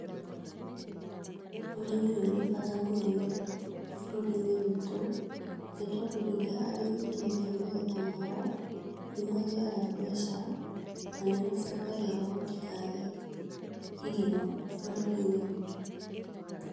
Ũrĩmi nĩũrĩ bata mũnene bũrũrinĩ witũ, nĩ tondũ rĩrĩa arĩmi mendia magetha mao, nĩmagĩaga mbeca, na nĩmacangagĩra gũtikage irio bũrũri-inĩ witũ.